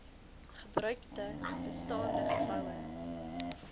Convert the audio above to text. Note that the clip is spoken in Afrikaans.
gebruikte bestaande geboue